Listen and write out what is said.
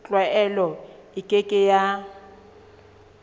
tlwaelo e ke ke ya